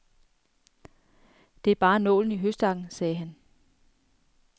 Det er bare nålen i høstakken, sagde han.